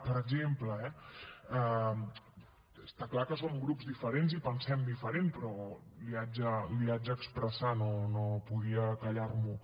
per exemple eh està clar que som grups diferents i pensem diferent però li haig d’expressar no podia callar m’ho